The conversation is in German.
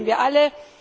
Das wollen wir alle.